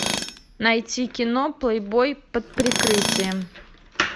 найти кино плейбой под прикрытием